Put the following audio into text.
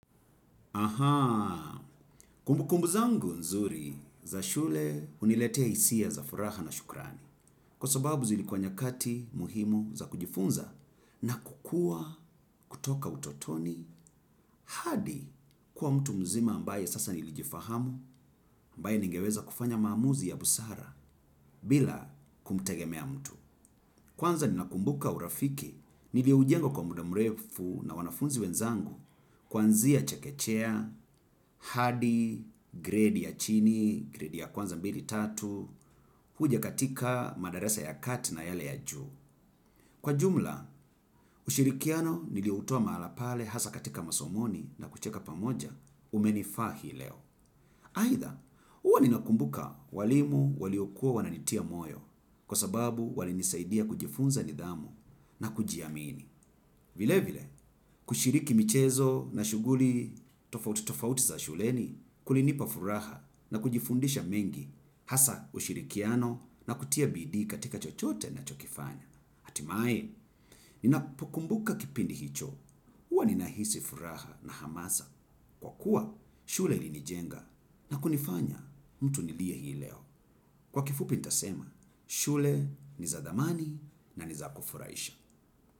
Ahaa, kumbu kumbu zangu nzuri za shule uniletea isia za furaha na shukrani. Kwa sababu zilikuwa nyakati muhimu za kujifunza na kukuwa kutoka utotoni hadi kuwa mtu mzima ambaye sasa nilijifahamu ambaye ningeweza kufanya mamuzi ya busara bila kumtegemea mtu. Kwanza ninakumbuka urafiki, nili ujengo kwa muda mrefu na wanafunzi wenzangu kwanzia chekechea, hadi, grade ya chini, grade ya kwanza mbili tatu, huja katika madarasa ya kati na yale ya juu. Kwa jumla, ushirikiano nilio utoa mahala pale hasa katika masomoni na kucheka pamoja umenifahi leo. Haitha, uwa nina kumbuka walimu waliokuwa wananitia moyo kwa sababu wali nisaidia kujifunza nidhamu na kujiamini. Vile vile, kushiriki michezo na shuguli tofauti za shuleni kulinipa furaha na kujifundisha mengi hasa ushirikiano na kutia bidii katika chochote nachokifanya. Atimae, ninapokumbuka kipindi hicho, uwa ninahisi furaha na hamasa. Kwa kuwa, shule linijenga na kunifanya mtu nilie hii leo. Kwa kifupi ntasema, shule ni za dhamani na ni za kufuraisha.